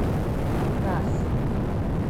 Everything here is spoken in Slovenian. Kras.